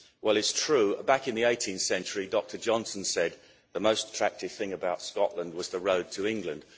Well, it's true that back in the 18th century Dr Johnson said the most attractive thing about Scotland was the road to England.